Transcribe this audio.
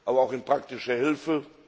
aber auch in praktischer Hilfe.